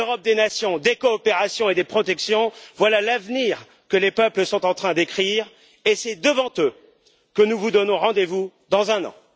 L'Europe des nations, des coopérations et des protections voilà l'avenir que les peuples sont en train d'écrire et c'est devant eux que nous vous donnons rendez vous dans un an.